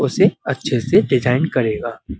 उसे अच्छे से डिज़ाइन करेगा।